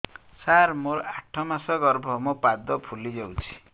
ସାର ମୋର ଆଠ ମାସ ଗର୍ଭ ମୋ ପାଦ ଫୁଲିଯାଉଛି